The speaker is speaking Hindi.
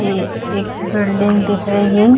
ये एक बिल्डिंग दिख रही --